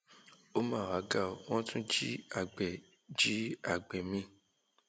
ó mà wàá ga ọ wọn tún jí àgbẹ jí àgbẹ mi